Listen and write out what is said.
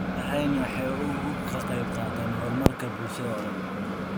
Beerahani waxa uu ka qayb qaataa horumarka bulshada oo dhan.